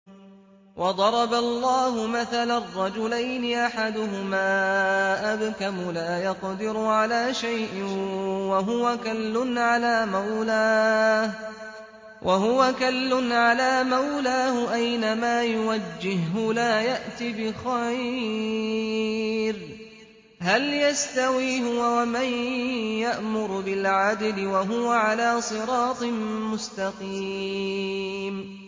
وَضَرَبَ اللَّهُ مَثَلًا رَّجُلَيْنِ أَحَدُهُمَا أَبْكَمُ لَا يَقْدِرُ عَلَىٰ شَيْءٍ وَهُوَ كَلٌّ عَلَىٰ مَوْلَاهُ أَيْنَمَا يُوَجِّههُّ لَا يَأْتِ بِخَيْرٍ ۖ هَلْ يَسْتَوِي هُوَ وَمَن يَأْمُرُ بِالْعَدْلِ ۙ وَهُوَ عَلَىٰ صِرَاطٍ مُّسْتَقِيمٍ